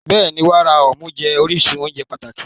Bẹ́ẹ̀ni, wàrà ọmú jẹ́ orísun oúnjẹ pàtàkì.